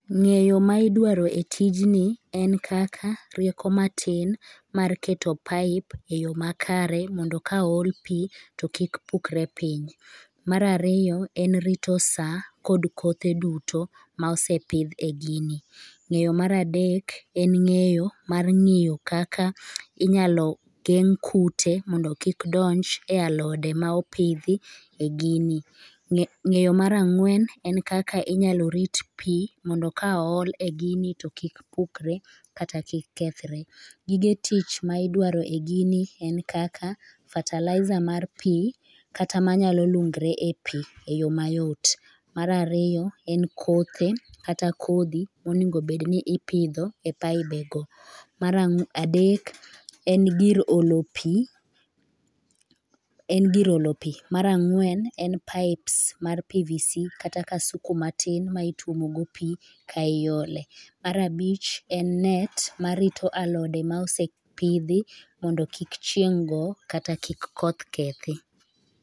Ng'eyo ma idwaro e tijni en kaka rieko matin mar keto pipe e yo makare mondo ka ool, to kik pukre piny. Mar ariyo en rito sa kod kothe duto ma osepidh e gini. Ng'eyo mar adek en ng'eyo mar ng'iyo kaka inyalo geng' kute mondo kik donj e alode ma opidhi e gini. Ng'eyo mar ang'wen en kaka inyalo rit pi mondo ka ool e gini to kik pukre kata kik kethre. Gige tich ma idwaro e gini en kaka fertilizer mar pi kata manyalo lungre e pi e yo mayot. Mar ariyo, en kothe kata kodhi monego obed ni ipidho e pibego. Mar adek en gir olo pi .Mar ang'wen en pipes mar pvc kata kasuku matin ma ituomogo pi ka iole. Mar abich en net marito alode ma osepidhi mondo kik chieng' go kata kik koth kethi.